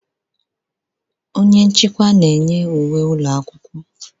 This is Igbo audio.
Onye nchịkwa na-enye uwe ụlọ akwụkwọ.